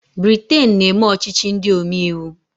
Briten na-eme ọchịchị ndị omeiwu.